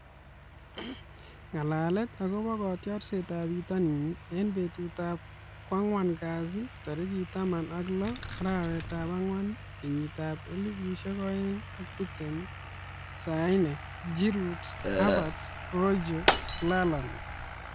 Ng'alalet akobo kotiorsetab bitonin eng betutab kwang'wan kasi tarik taman ak lo, arawetab ang'wan, kenyitab elebu oeng ak tiptem :Sane ,Giroud, Havertz, Rojo, Lallana